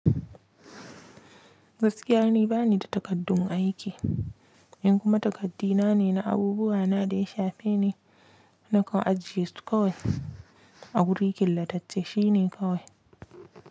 Gaskiya ni bani da takaddun aiki, in kuma takaddi na ne na abubuwa na da ya shafe ni, nakan ajiye su kawai. A wuri killatacce shine kawai.